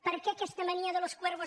per què aquesta mania de los cuervos